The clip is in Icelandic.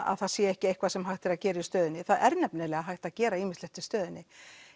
að það sé ekki eitthvað sem hægt er að gera í stöðunni það er nefnilega hægt að gera ýmislegt í stöðunni